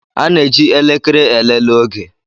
A na-eji elekere elele oge